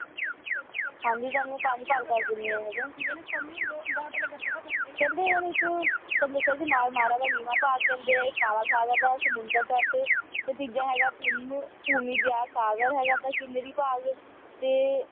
ਹਾਂ ਜਿਤੁਹਾਨੂੰ ਮੈਂ ਪੰਜ ਭਾਗ ਦੱਸ ਦਿੰਨੀ ਹਾਂ ਇਹਦੇ ਕਹਿੰਦੇ ਇਨ੍ਹਾਂ ਦੇ ਇੱਕ ਤੁਹਾਨੂੰ ਦੱਸਿਆ ਸੀ ਮਾਰ ਮਾਰਾ ਦਾ ਨੀਵਾਂ ਭਾਗ ਕਹਿੰਦੇ ਆ ਇੱਕ ਕਾਲਾ ਸਾਗਰ ਦਾ ਸਮੁੰਦਰ ਤਟ ਤੇ ਤੀਜਾ ਹੈਗਾ ਭੂਮ`ਭੂ ਮਧਿਆ ਸਾਗਰ ਹੈਗਾ ਦਾ ਕੇਂਦਰੀ ਭਾਗ ਤੇ